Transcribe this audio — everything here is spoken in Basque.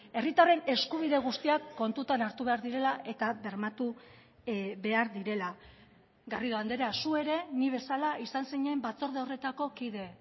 herritarren eskubide guztiak kontutan hartu behar direla eta bermatu behar direla garrido andrea zu ere ni bezala izan zinen batzorde horretako kide